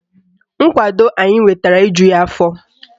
Nkwado anyị nwetara ejughi afọ